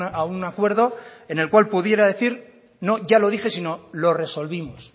a un acuerdo en el cual pudiera decir no ya lo dije sino lo resolvimos